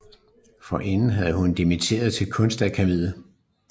Forinden havde hun dimitteret til Kunstakademiet